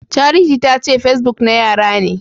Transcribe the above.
Charity tace facebook na yara ne.